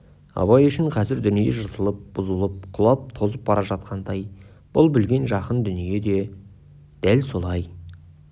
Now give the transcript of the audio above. абай үшін қазір дүние жыртылып бұзылып құлап тозып бара жатқандай бұл білген жақын дүние дәл солай